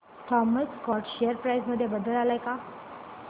Thomas Scott share price मध्ये बदल आलाय का